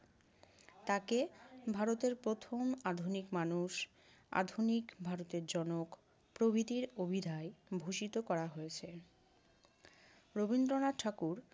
তাকে ভারতের প্রথম আধুনিক মানুষ, আধুনিক ভারতের জনক প্রভৃতির অভিধায় ভূষিত করা হয়েছে। রবীন্দ্রনাথ ঠাকুর